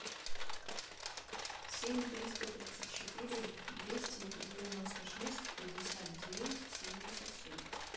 семь триста тридцать четыре двести девяносто шесть пятьдесят девять семьдесят семь